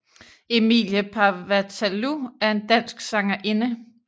Emilie Paevatalu er en dansk sangerinde